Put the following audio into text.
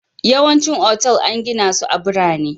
Yawancin otal an gina su a birane